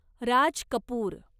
Raj Kapoor